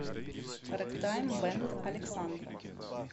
рэгтайм бэнд александра